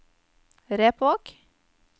Repvåg